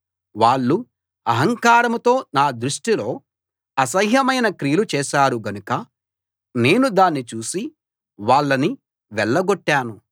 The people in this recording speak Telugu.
వాళ్ళు అహంకారంతో నా దృష్టిలో అసహ్యమైన క్రియలు చేశారు గనుక నేను దాన్ని చూసి వాళ్ళను వెళ్ళగొట్టాను